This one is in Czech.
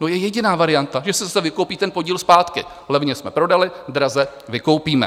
No, je jediná varianta, že se zase vykoupí ten podíl zpátky - levně jsme prodali, draze vykoupíme.